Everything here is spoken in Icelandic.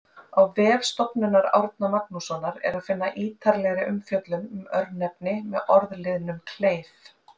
Á vef Stofnunar Árna Magnússonar er að finna ítarlegri umfjöllun um örnefni með orðliðnum-kleif.